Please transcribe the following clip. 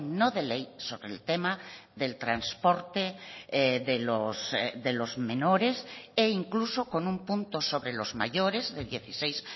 no de ley sobre el tema del transporte de los menores e incluso con un punto sobre los mayores de dieciséis